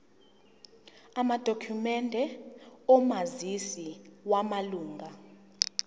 amadokhumende omazisi wamalunga